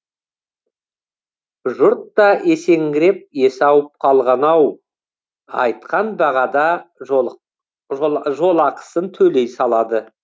жұрт та есеңгіреп есі ауып қалған ау айтқан бағада жолақысын төлей салады